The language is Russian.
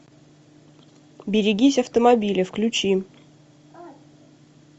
берегись автомобиля включи